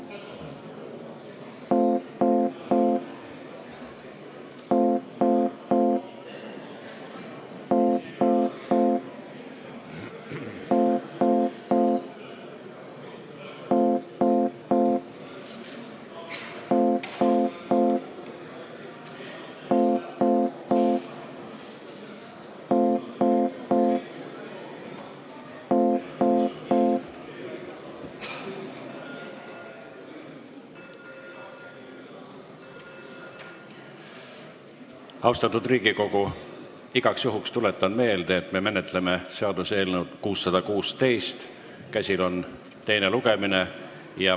Austatud Riigikogu, igaks juhuks tuletan meelde, et me menetleme seaduseelnõu 616, käsil on teine lugemine.